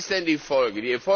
Was ist denn die Folge?